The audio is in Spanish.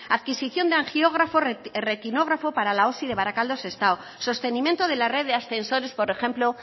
adquisición de angiógrafo retinógrafo para la osi de barakaldo sestao sostenimiento de la red de ascensores por ejemplo